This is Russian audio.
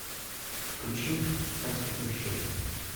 включи как стать мужчиной